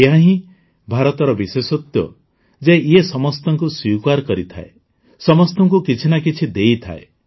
ଏହାହିଁ ଭାରତର ବିଶେଷତ୍ୱ ଯେ ଇଏ ସମସ୍ତଙ୍କୁ ସ୍ୱୀକାର କରିଥାଏ ସମସ୍ତଙ୍କୁ କିଛି ନା କିଛି ଦେଇଥାଏ